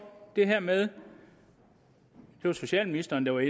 det her med det var socialministeren der var